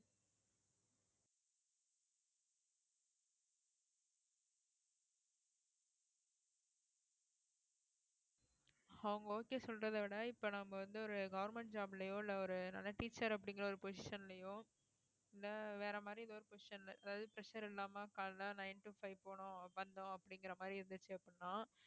அவங்க okay சொல்றதே விட இப்ப நம்ம வந்து ஒரு government job லயோ இல்ல ஒரு நல்ல teacher அப்படிங்கற ஒரு position லையோ இல்லை வேற மாதிரி ஏதோ ஒரு position ல அதாவது pressure இல்லாம காலையில nine to five போனோம் வந்தோம் அப்படிங்கற மாதிரி இருந்துச்சு அப்படின்னா